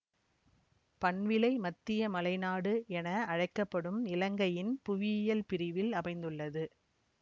பண்விலை மத்திய மலைநாடு என அழைக்க படும் இலங்கையின் புவியியல் பிரிவில் அமைந்துள்ளது